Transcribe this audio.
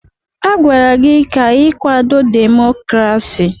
Agwara gị ka ị kwado demokrasi!